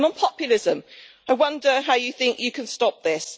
On populism, I wonder how you think you can stop this.